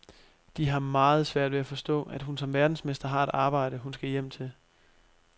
De har meget svært ved at forstå, at hun som verdensmester har et arbejde, hun skal hjem til.